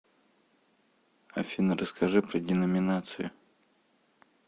афина расскажи про деноминацию